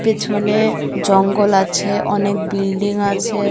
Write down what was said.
পেছনে জঙ্গল আছে অনেক বিল্ডিং আছে।